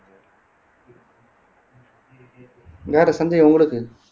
வேற சந்தேகம் உங்களுக்கு